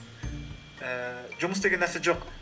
ііі жұмыс деген нәрсе жоқ